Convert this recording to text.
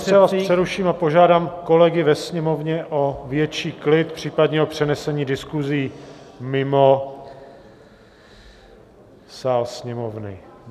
Pane ministře, já vás přeruším a požádám kolegy ve sněmovně o větší klid, případně o přenesení diskusí mimo sál sněmovny.